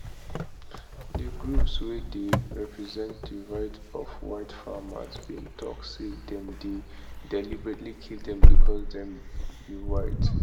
di groups wey dey represent di rights of white farmers bin tok say dem dey deliberately kill dem becos dem be white